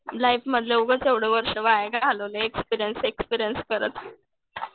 लाईफमधले उगाच एवढे वर्ष वाया घालवले. एक्सपीरियन्स एक्सपीरियन्स करत.